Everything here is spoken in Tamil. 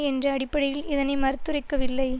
என்ற அடிப்படையில் இதனை மறுத்துரைக்கவில்லை